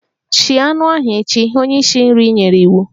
Shie anụ ahu echi! Onye isi nri nyere iwu.